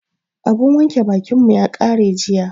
Abun wanke bakin mu ya ƙare jiya.